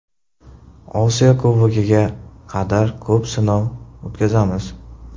Osiyo Kubogiga qadar ko‘p sinov o‘tkazamiz.